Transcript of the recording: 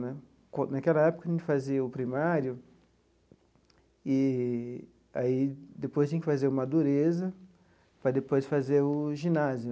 Né naquela época, a gente fazia o primário e aí depois tinha que fazer o madureza para depois fazer o ginásio.